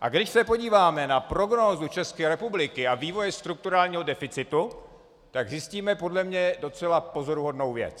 a když se podíváme na prognózu České republiky a vývoje strukturálního deficitu, tak zjistíme podle mě docela pozoruhodnou věc.